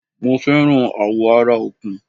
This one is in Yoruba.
Mo fẹ́ràn àwọ̀ ara Ọ̀kùn